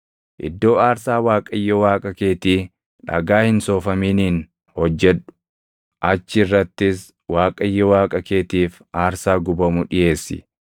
Iddoo aarsaa Waaqayyoo Waaqa keetii dhagaa hin soofaminiin hojjedhu; achi irrattis Waaqayyo Waaqa keetiif aarsaa gubamu dhiʼeessi.